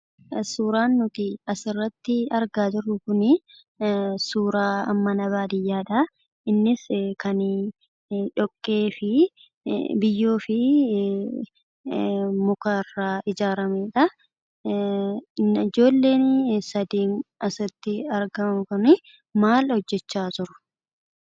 Suuraan nuti asirratti argaa jirru kun suura mana baadiyyaadha. Innis kan biyyoo fi muka irraa ijaarramedha. Ijoolleen asirratti argaa jirru kun maal hojjechaa jiru?